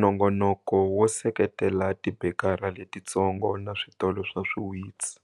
Nongonoko wo seketela tibekara letitsongo na switolo swa swiwitsi,